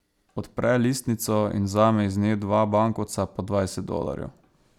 Odpre listnico in vzame iz nje dva bankovca po dvajset dolarjev.